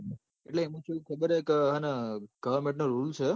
એટલ ઈમો એવું goverment નો rules હ